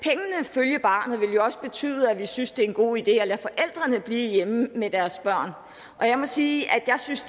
følge barnet vil jo også betyde at vi synes det er en god idé at lade forældrene blive hjemme med deres børn og jeg må sige at jeg synes